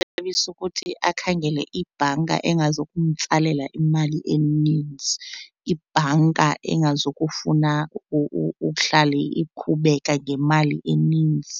ukuthi akhangele ibhanka engazukumtsalela imali enintsi, ibhanka engazukufuna uhlale ikhubeka ngemali enintsi.